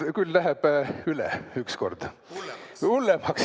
Küll läheb üle ükskord!